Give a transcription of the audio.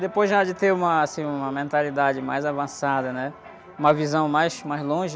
Depois já, de te uma, assim, mentalidade mais avançada, né? Uma visão mais, mais longe,